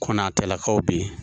Kɔnatelakaw bɛ yen